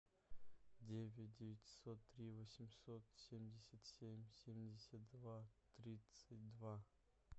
девять девятьсот три восемьсот семьдесят семь семьдесят два тридцать два